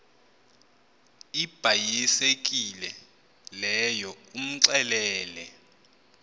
ibhayisekile leyo umxelele